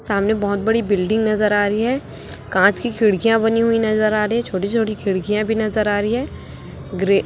सामने बहोत बड़ी बिल्डिंग नजर आ रही है कांच की खिड़कियां बनी हुई नजर आ रही है छोटी छोटी खिड़कियां भी नजर आ रही है ग्रे --